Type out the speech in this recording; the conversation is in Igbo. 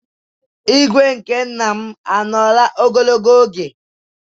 ígwè nke nna m anọọla ebe ahụ ogologo oge